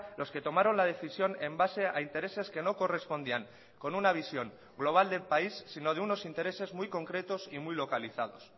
los que tomaron la decisión en base a intereses que no correspondían con una visión global del país sino de unos intereses muy concretos y muy localizados